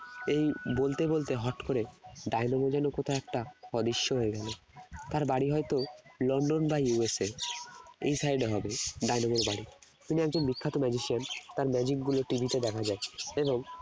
এই বলতে বলতে হঠাৎ করে ডায়নামো যেন কোথায় একটা অদৃশ্য হয়ে গেল তার বাড়ি হয়তো লন্ডন বা ইউরোপ এই side এ হবে ডায়নামোর বাড়ি তিনি একজন বিখ্যাত magician তার magic গুলো TV তে দেখা যায় এবং